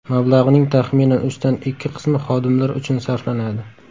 Mablag‘ning taxminan uchdan ikki qismi xodimlar uchun sarflanadi.